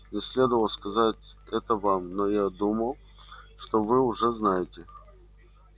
мне следовало сказать это вам но я думал что вы уже знаете